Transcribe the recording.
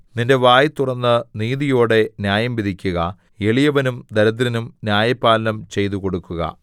നിന്റെ വായ് തുറന്ന് നീതിയോടെ ന്യായം വിധിക്കുക എളിയവനും ദരിദ്രനും ന്യായപാലനം ചെയ്തുകൊടുക്കുക